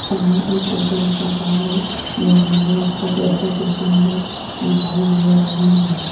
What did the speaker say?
सामने एक auto rickshaw खड़ा है एक महिला उसको पैसे देते हुए दिखाई दे रही है।